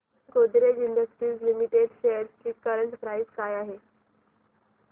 Godrej industries limited shares ची current price काय आहे